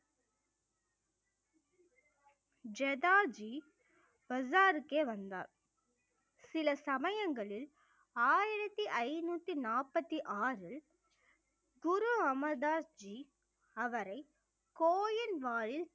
ஜதாஜி பஜாருக்கே வந்தார் சில சமயங்களில் ஆயிரத்தி ஐந்நூத்தி நாற்பத்தி ஆறில் குரு அமர்தாஸ் ஜீ அவரை கோயில் வாயில்